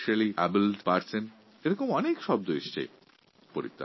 আবার কখনও specially abled person এই ধরনের অনেক শব্দ শুনে আসছি